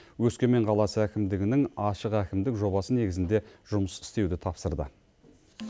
өскемен қаласы әкімдігінің ашық әкімдік жобасы негізінде жұмыс істеуді тапсырды